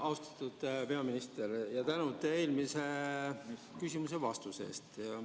Austatud peaminister, tänud eelmisele küsimusele antud vastuse eest!